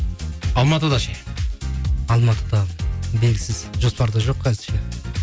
алматыда ше алматыда белгісіз жоспарда жоқ әзірше